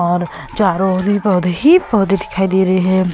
और चारों ओर भी पौधे ही पौधे दिखाई दे रहे हैं।